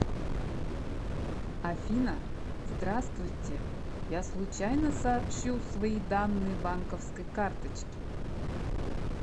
афина здравствуйте я случайно сообщу свои данные банковской карточки